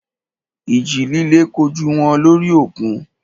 Ìjì líle kojú wọn lórí òkun.